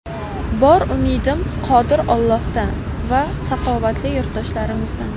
Bor umidim Qodir Allohdan va saxovatli yurtdoshlarimizdan.